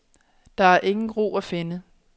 Der er ingen ro at finde.